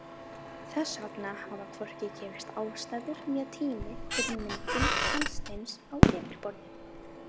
Þess vegna hafa hvorki gefist aðstæður né tími fyrir myndun sandsteins á yfirborði.